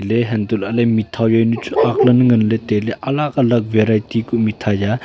le hantolale mithai jaunu chu agle nganle taile alag alag variety ku mithai ya.